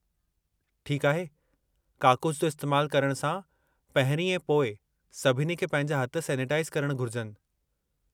ठीकु आहे! काकूसु जो इस्तेमालु करणु सां पहिरीं ऐं पोइ सभिनी खे पंहिंजा हथ सैनिटाइज़ करणु घुर्जनि।